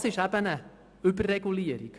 Genau das ist eben eine Überregulierung.